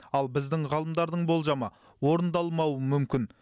ал біздің ғалымдардың болжамы орындалмауы мүмкін